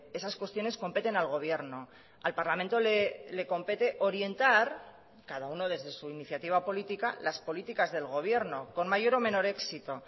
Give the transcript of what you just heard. esas cuestiones competen al gobierno al parlamento le compete orientar cada uno desde su iniciativa política las políticas del gobierno con mayor o menor éxito